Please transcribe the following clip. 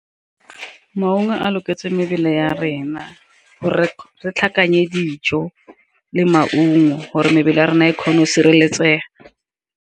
Maungo a loketseng mebele ya rena gore re tlhakane dijo le maungo, gore mebele ya rona e kgone o sireletsega.